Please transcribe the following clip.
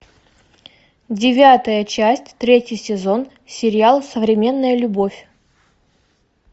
девятая часть третий сезон сериал современная любовь